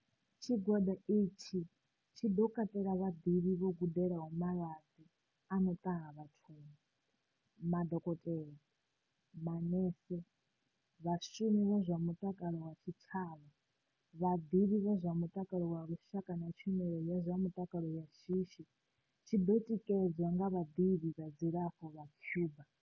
Tshigwada itshi tshi ḓo katela vhaḓivhi vho gudelaho malwadze a no ṱaha vhathuni, madokotela, manese, vhashumi vha zwa mutakalo vha tshitshavha, vhaḓivhi vha zwa mu-takalo wa lushaka na tshumelo ya zwa mutakalo ya shishi, tshi ḓo tikedzwa nga vhaḓivhi vha zwa dzilafho vha Cuba.